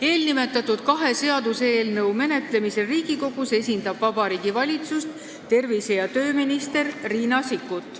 Eelnimetatud kahe seaduseelnõu menetlemisel Riigikogus esindab Vabariigi Valitsust tervise- ja tööminister Riina Sikkut.